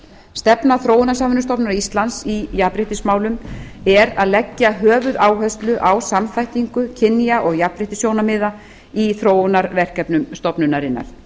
stefna þróunarsamvinnustofnunar íslands í jafnréttismálum er að leggja höfuðáherslu á samþættingu kynja og jafnréttissjónarmiða í þróunarverkefnum stofnunarinnar